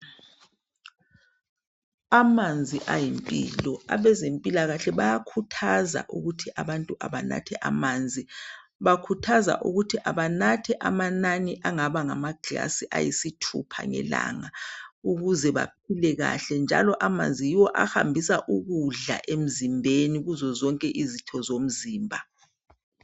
Amanzi ayimpilo. Abezempilakahle bayakhuthaza ukuthi abantu abanathe amanzi. Bakhuthaza ukuthi abanathe amanani angaba ngamaglasi ayisithupha ngelanga ukuze baphile kahle njalo amanzi yiwo ahambisa ukudla emzimbeni kuzozonke izitho zomzimba.